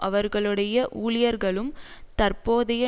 அவர்களுடைய ஊழியர்களும் தற்போதைய